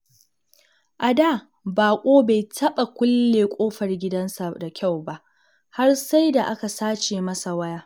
A da, Baƙo bai taɓa kulle ƙofar gidansa da kyau ba, har sai da aka sace masa waya.